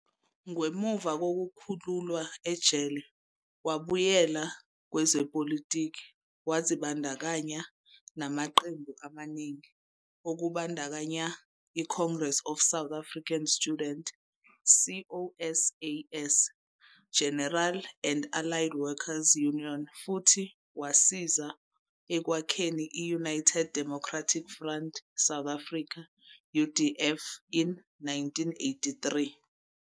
Ngemuva kokukhululwa ejele, wabuyela kwezepolitiki, wazibandakanya namaqembu amaningi, okubandakanya - iCongress of South African Student, COSAS, General and Allied Worker's Union futhi wasiza ekwakheni i-United Democratic Front, South Africa, UDF in 1983.